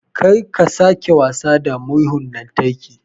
Kar ka sake wasa da murhun lantarki